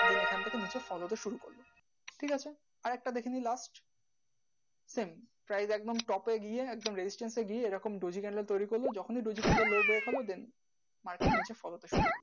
ওখান থেকে এসেঠিক আছে আরেকটা দেখা যাক top এ red, candle, daisy, candle তৈরি করে ওরকম daisy, candle